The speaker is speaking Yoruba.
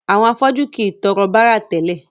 Àwọn afọ́jú kìí tọrọ bárà tẹ́lẹ̀.